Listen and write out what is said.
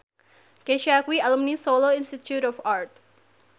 Kesha kuwi alumni Solo Institute of Art